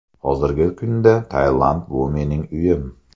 Hozirgi kunda Tailand bu mening uyim.